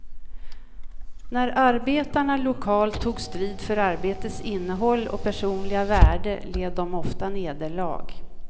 När arbetarna lokalt tog strid för arbetets innehåll och personliga värde led de ofta nederlag.